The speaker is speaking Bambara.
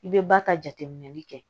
I bɛ ba ka jateminɛli kɛ